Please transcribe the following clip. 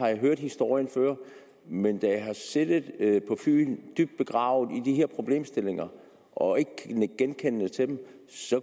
hørt historien før men da jeg har siddet på fyn og dybt begravet i de her problemstillinger og ikke kan nikke genkendende til dem